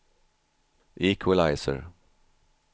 equalizer